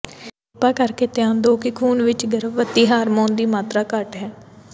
ਕਿਰਪਾ ਕਰਕੇ ਧਿਆਨ ਦਿਓ ਕਿ ਖੂਨ ਵਿੱਚ ਗਰਭਵਤੀ ਹਾਰਮੋਨ ਦੀ ਮਾਤਰਾ ਘੱਟ ਹੈ